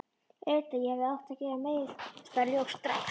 Auðvitað, ég hefði átt að gera mér það ljóst strax.